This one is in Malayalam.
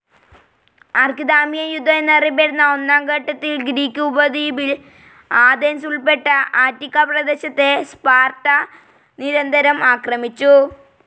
ആർക്കിദാമിയൻ യുദ്ധം എന്നറിയപ്പെടുന്ന ഒന്നാം ഘട്ടത്തിൽ ഗ്രീക്ക് ഉപദ്വീപിൽ ആഥൻസ് ഉൾപ്പെട്ട അറ്റിക്കാ പ്രദേശത്തെ സ്പാർട്ട നിരന്തരം ആക്രമിച്ചു.